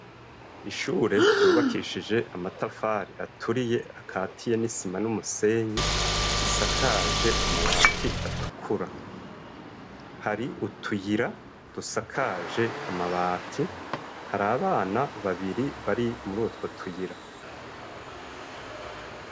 Ishure ryubakishije amatafari aturiye akatiye n'isima n'umusenyi. risakaje amabati atukura. Hari utuyira dusakaje amabati, hari abana babiri bari muri utwo tuyira.